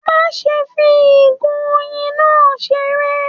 Má ṣe fí igo oyin náà seré!